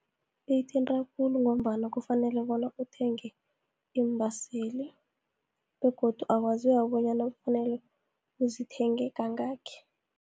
Uyithinta khulu, ngombana kufanele bona uthenge iimbaseli, begodu akwaziwa bonyana kufanele uzithenge kangaki.